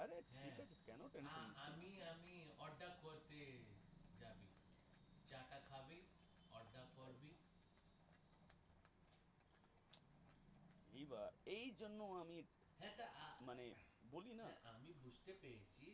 এইবার এইজন্য আমি মানে বলি না